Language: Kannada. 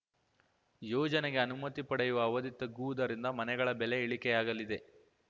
ಯೋಜನೆಗೆ ಅನುಮತಿ ಪಡೆಯುವ ಅವಧಿ ತಗ್ಗುವುದರಿಂದ ಮನೆಗಳ ಬೆಲೆ ಇಳಿಕೆಯಾಗಲಿದೆ